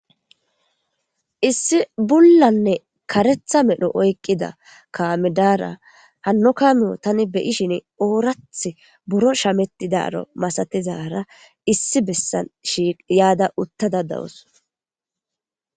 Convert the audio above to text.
Issi bulanne kareththa medhdho oyikida kalo data hano gathrho tani beishinni oraththi buro shametidaro masatizara issi beesan shiqada utada deawusi